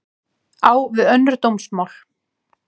Á við önnur dómsmál